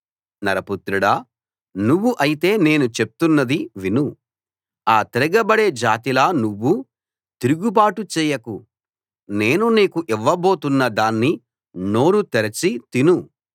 నరపుత్రుడా నువ్వు అయితే నేను చెప్తున్నది విను ఆ తిరగబడే జాతిలా నువ్వూ తిరుగుబాటు చేయకు నేను నీకు ఇవ్వబోతున్న దాన్ని నోరు తెరచి తిను